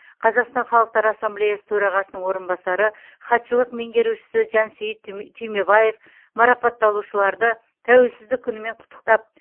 қазақстан халықтар ассамблеясы төрағасының орынбасары хатшылық меңгерушісі жансейіт түймебаев марапатталушыларды тәуелсіздік күнімен құттықтап